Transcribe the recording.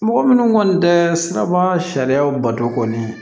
Mɔgɔ minnu kɔni tɛ siraba sariyaw bato kɔni